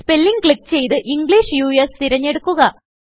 spelling click ചെയ്ത് English US തിരഞ്ഞെടുക്കുക